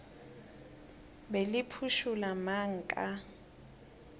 be le phušula mang ka